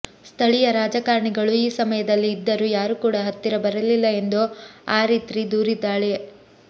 ಸ್ಥಳೀಯ ರಾಜಕಾರಣಿಗಳು ಈ ಸಮಯದಲ್ಲಿ ಇದ್ದರೂ ಯಾರು ಕೂಡ ಹತ್ತಿರ ಬರಲಿಲ್ಲ ಎಂದು ಆರಿತ್ರಿ ದೂರಿದ್ದಾಳೆ